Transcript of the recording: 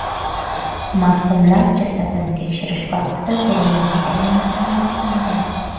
Marhumlar jasadini tekshirish vaqtida zo‘ravonlik alomatlari aniqlangan.